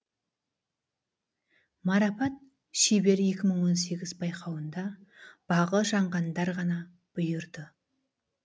марапат шебер екі мың он сегіз байқауында бағы жанғандар ғана бұйырды